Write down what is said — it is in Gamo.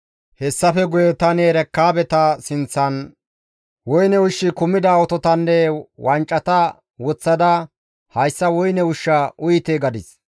Hessafe guye tani Erekaabeta sinththan woyne ushshi kumida ototanne wancata woththada, «Hayssa woyne ushshaa uyite» gadis.